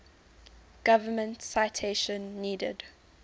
government citation needed